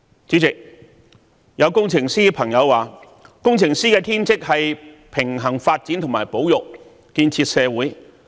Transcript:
主席，有工程師朋友說，工程師的天職是平衡發展和保育，建設社會。